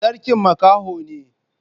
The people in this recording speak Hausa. Sarkin makaho ne.